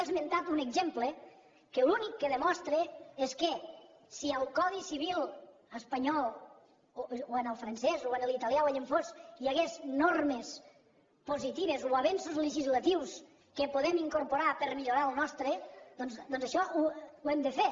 i ha esmentat un exemple que l’únic que demostra és que si al codi civil espanyol o en el francès o en l’italià o allà on fos hi hagués normes positives o avenços legislatius que podem incorporar per millorar el nostre doncs això ho hem de fer